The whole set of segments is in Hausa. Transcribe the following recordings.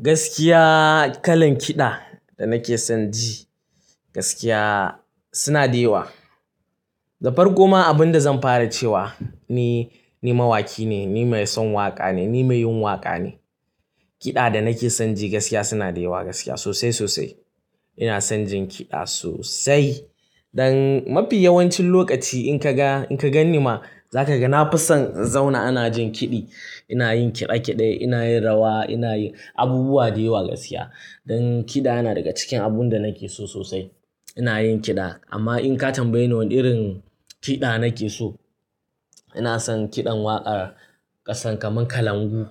Gaskiya kalan kiɗa da nake son ji gaskiya suna da yawa. Da farko ma abin da zan fara ce wa ni, ni mawaki ne, ni mai son waƙa ne, ni mai yin waƙa ne. Kiɗa da nake son ji gaskiya suna da yawa gaskiya sosai sosai. Ina son jin kiɗa sosai. Don mafi yawancin lokaci in ka ga, in ka ganni ma za ka ga na fi son in zauna ana jin kiɗi. Ina yin kiɗe kiɗe, ina yin rawa, ina yi abubuwa da yawa gaskiya. Don kiɗa yana daga cikin abun da nake so sosai. Ina yin kiɗa amma in ka tambayi ni wane irin kiɗa nake so, ina son kiɗan waƙar ƙasan kamar kalangu.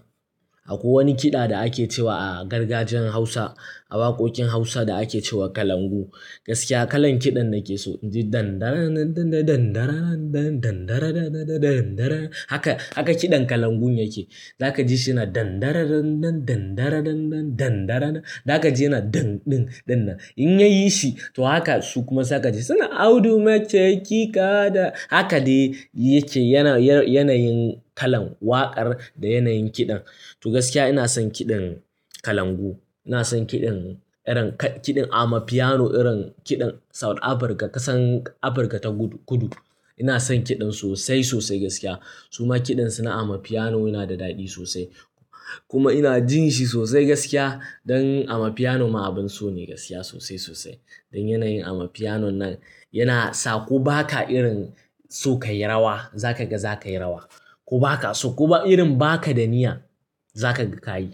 Akwai wani kiɗa da ake cewa a gargajiyan Hausa, a waƙoƙin Hausa da ake ce wa kalangu. Gaskiya kalan kiɗan nake so. Haka, haka kiɗan kalangun yake. Za ka ji shi yana. In ya yi shi to haka su kuma za ka ji suna. Haka ne yake yanayin kalan waƙar da yanayin kiɗan. To gaskiya ina son kiɗin kalangu. Ina son kiɗin irin kiɗin ama piano irin kiɗin South Africa, ƙasan Africa ta kudu. Ina son kiɗan sosai sosai gaskiya. Su ma kiɗan su na amapiano yana da daɗi sosai. Kuma ina jin shi sosai gaskiya. Don amapiano ma abin so ne gaskiya sosai sosai. Don yanayin amapiano nan yana sa ko baka irin so ka yi rawa, za ka ga za ka yi rawa. Ko baka so, ko irin baka da niyya za ka ga ka yi.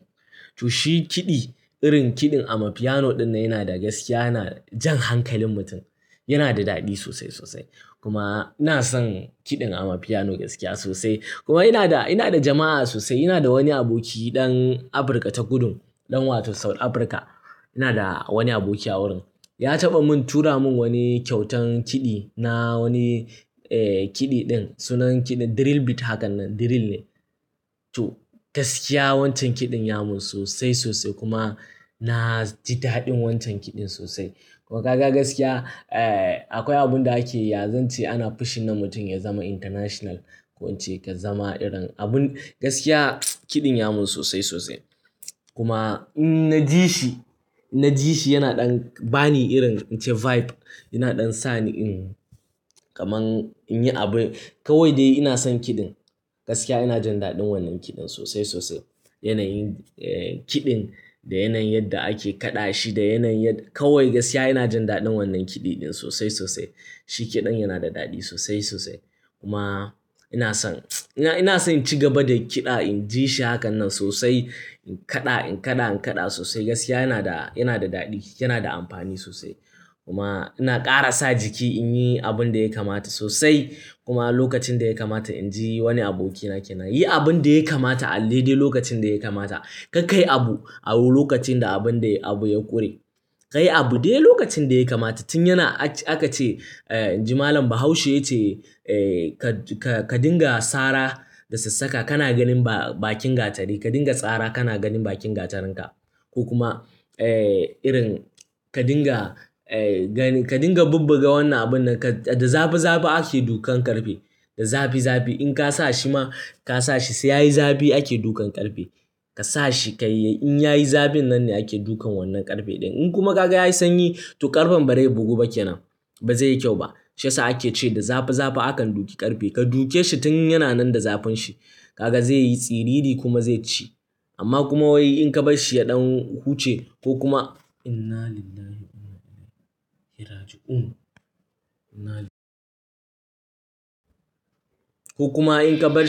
To shi kiɗi, irin kiɗin amapiano ɗinnan yana da gaskiya yana jan hankalin mutum. Yana da daɗi sosai sosai. Kuma ina son kiɗin ama piano gaskiya sosai. Kuma ina da, ina da jama'a sosai. Ina da wani aboki ɗan Africa ta kudu, ɗan wato South Africa. Ina da wani aboki a wurin. Ya taɓa mun tura mun wani kyautan kiɗi na wani kiɗi ɗin. Sunan kiɗin drill beat hakan nan, drill ne. To gaskiya wancan kiɗin ya mun sosai sosai kuma na ji daɗin wancan kiɗin sosai. Kuma ga gaskiya akwai abun da ake yanzu ce ana pushing na mutum ya zama international. Ko in ce ka zama irin abun, gaskiya kiɗin ya mun sosai sosai. Kuma in na ji shi, in na ji shi yana ɗan ba ni irin in ce vibe, yana ɗan sa ni in kamar in yi abin. Kawai dai ina son kiɗin. Gaskiya ina jin daɗin wannan kiɗin sosai sosai. Yanayin kiɗin da yanayin yadda ake kaɗa shi da yanayin yadda, kawai gaskiya ina jin daɗin wannan kiɗi ɗin sosai sosai. Shi kiɗan yana da daɗi sosai sosai. Kuma ina son, ina son ci gaba da kiɗa in ji shi hakan nan sosai. In kaɗa, in kaɗa, in kaɗa sosai gaskiya yana da, yana da daɗi, yana da amfani sosai. Kuma ina ƙara sa jiki in yi abun da ya kamata sosai. Kuma lokacin da ya kamata in ji wani abokina ke na, "Yi abun da ya kamata alle dai lokacin da ya kamata. Kar kai abu a wurin lokacin da abun da abu ya ƙure. Ka yi abu dai lokacin da ya kamata." Tun yana aƙa ce inji malan Bahaushe ya ce ka, ka dinga sara da sassaka kana ganin ba-bakin gatari. Ka dinga tsara kana ganin bakin gatarin ka. Ko kuma irin ka dinga ka dinga bubbuga wannan abun nan ka, da zafi zafi ake dukan ƙarfe. Da zafi zafi in ka sa shi ma, ka sa shi sai ya yi zafi ake dukan ƙarfe. Ka sa shi ka yi, in ya yi zafin nan ne ake dukan wannan ƙarfe ɗin. In kuma ka ga ya yi sanyi to ƙarfen ba zai bugu ba ke nan. Ba zai yi kyau ba. Shiyasa ake ce da zafi zafi akan duke ƙarfe. Ka duke shi tun yana nan da zafin shi, ka ga zai yi tsiriri kuma zai ci. Amma kuma wai in ka bar shi ya ɗan huce ko kuma ko kuma in ka bar shi.